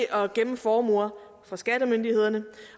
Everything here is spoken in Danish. at gemme formuer for skattemyndighederne